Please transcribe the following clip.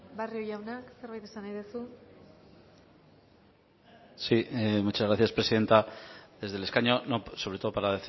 barrio jauna zerbait esan nahi duzu sí muchas gracias presidenta desde el escaño sobre todo para